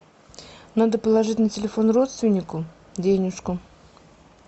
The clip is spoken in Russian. надо положить на телефон родственнику денежку